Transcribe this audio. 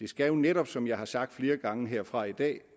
skal jo netop som jeg har sagt flere gange herfra i dag